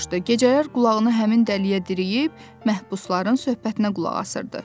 Gecələr qulağını həmin dəliyə diriyib məhbusların söhbətinə qulaq asırdı.